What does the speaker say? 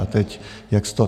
A teď jak z toho.